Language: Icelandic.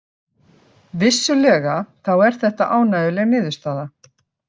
Vissulega þá er þetta ánægjuleg niðurstaða